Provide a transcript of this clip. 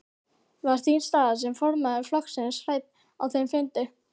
Var þín staða sem formaður flokksins rædd á þeim fundi?